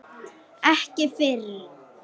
Ekki fyrr.